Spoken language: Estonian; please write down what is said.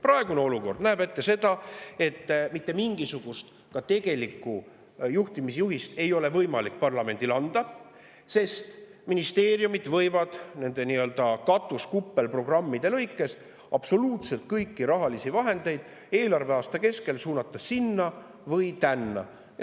Praegune olukord näeb ette, et mitte mingisugust tegelikku juhtimisjuhist ei ole võimalik parlamendil anda, sest ministeeriumid võivad nende nii-öelda katus‑ või kuppelprogrammide lõikes absoluutselt kõiki rahalisi vahendeid eelarveaasta kestel suunata sinna või tänna.